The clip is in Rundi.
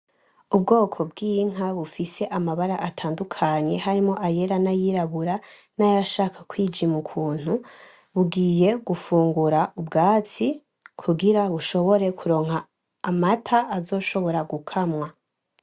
Ubwoko bwinka bufise amabara atandukanye harimwo yera na yirabura nayashaka kwijim' ukuntu, bugiye gufungura ubwatsi kugira bushobore kuronka amata azoshobora gukamwa.